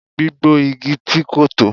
Gbígbó igi ti ko tọ